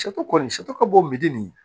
kɔni ka bɔ misi nin ye